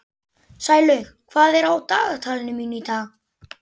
Sælaug, hvað er á dagatalinu mínu í dag?